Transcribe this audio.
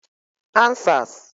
Answers